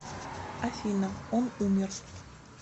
афина он умер